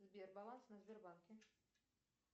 сбер баланс на сбербанке